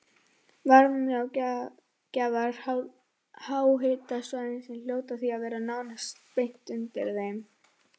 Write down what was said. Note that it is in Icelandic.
Varmagjafar háhitasvæðanna hljóta því að vera nánast beint undir þeim.